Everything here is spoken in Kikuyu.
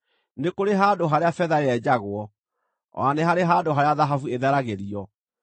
“Nĩ kũrĩ handũ harĩa betha yenjagwo o na nĩ harĩ handũ harĩa thahabu ĩtheragĩrio.